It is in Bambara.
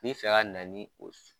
N bɛ fɛ ka na ni o